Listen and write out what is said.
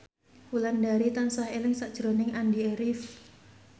Wulandari tansah eling sakjroning Andy rif